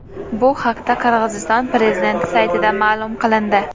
Bu haqda Qirg‘iziston prezidenti saytida ma’lum qilindi .